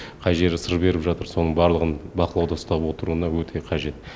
қай жері сыр беріп жатыр соның барлығын бақылауда ұстап отыруына өте қажет